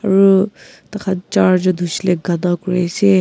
aru taikhan charjun huishile gana kuri ase.